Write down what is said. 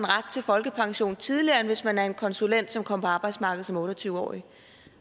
ret til folkepension tidligere end hvis man er en konsulent som kom på arbejdsmarkedet som otte og tyve årig